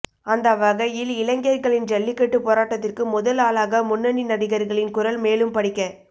அந்த வகையில் இளைஞர்களின் ஜல்லிக்கட்டு போராட்டத்திற்கு முதல் ஆளாக முன்னணி நடிகர்களில் குரல் மேலும் படிக்க